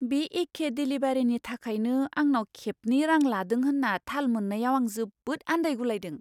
बे एखे देलिभारिनि थाखायनो आंनाव खेबनै रां लादों होन्ना थाल मोन्नायाव आं जोबोद आन्दायगुलायदों।